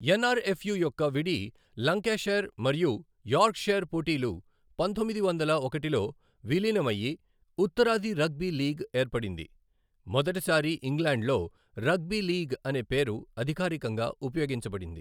ఎన్ఆర్ఎఫ్యు యొక్క విడి లంకాషైర్ మరియు యార్క్షైర్ పోటీలు పంతొమ్మిది వందల ఒకటిలో విలీనం అయి, ఉత్తరాది రగ్బీ లీగ్ ఏర్పడింది, మొదటిసారి ఇంగ్లాండ్లో రగ్బీ లీగ్ అనే పేరు అధికారికంగా ఉపయోగించబడింది.